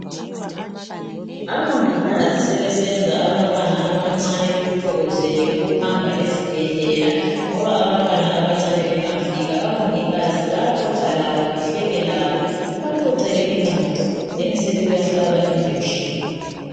Abongikazi sebesenza abantwana abancane bekuthokozele ukuhamba ezibhedlela ngoba abantwana abancane bengafika, abongikazi bayaxoxa labo, bahleke labo, bebaxoxele ingxoxo then sebebahlaba injection.